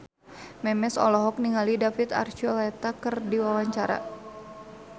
Memes olohok ningali David Archuletta keur diwawancara